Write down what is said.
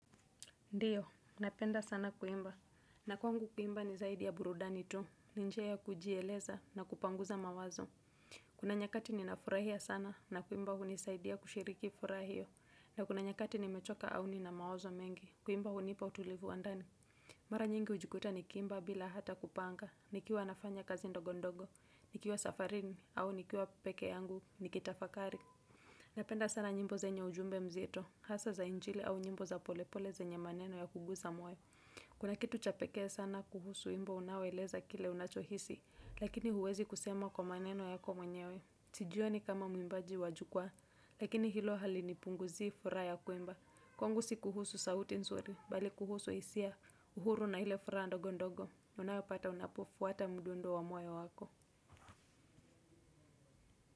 Ndiyo, napenda sana kuimba. Na kwangu kuimba ni zaidi ya burudani tu. Ni njia ya kujieleza na kupanguza mawazo. Kuna nyakati ninafurahia sana na kuimba hunisaidia kushiriki furaha hio. Na kuna nyakati nimechoka au nina mawazo mengi. Kuimba hunipa utulivu wa ndani. Mara nyingi ujikuta nikiimba bila hata kupanga. Nikiwa nafanya kazi ndogondogo. Nikiwa safarini au nikiwa peke yangu nikitafakari. Napenda sana nyimbo zenye ujumbe mzito. Hasa za injili au nyimbo za polepole zenye maneno ya kuguza moyo. Kuna kitu cha pekee sana kuhusu wimbo unaoeleza kile ambacho unachohisi. Lakini huwezi kusema kwa maneno yako mwenyewe. Tijio ni kama mwimbaji wajukwaa. Lakini hilo hali ni punguzi furaha ya kuimba. Kwangu si kuhusu sauti nzuri. Bali kuhusu hisia uhuru na ile furaha ndogo ndogo. Unawepata unapofuata mduundo wa moyo wako.